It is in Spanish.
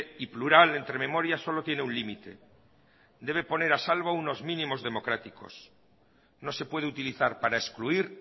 y plural entre memorias solo tiene un límite debe poner a salvo unos mínimos democráticos no se puede utilizar para excluir